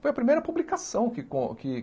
Foi a primeira publicação que con que